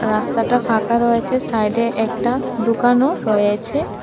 রাস্তাটা ফাঁকা রয়েছে সাইডে একটা দুকানও রয়েছে।